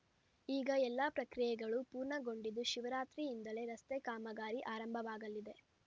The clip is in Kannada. ಈಗ ಎಲ್ಲಾ ಪ್ರಕ್ರಿಯೆಗಳು ಪೂರ್ಣಗೊಂಡಿದ್ದು ಶಿವರಾತ್ರಿಯಿಂದಲೇ ರಸ್ತೆ ಕಾಮಗಾರಿ ಆರಂಭವಾಗಲಿದೆ